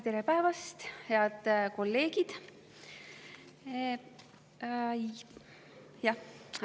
Tere päevast, head kolleegid!